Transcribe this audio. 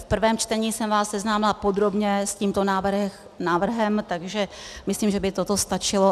V prvém čtení jsem vás seznámila podrobně s tímto návrhem, takže myslím, že by to stačilo.